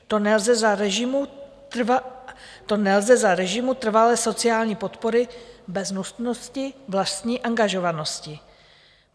To nelze za režimu trvalé sociální podpory bez nutnosti vlastní angažovanosti.